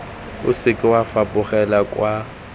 o seke wa fapogela kwa